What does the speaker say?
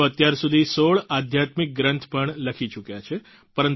તેઓ અત્યારસુધી 16 આધ્યાત્મિક ગ્રંથ પણ લખી ચૂક્યા છે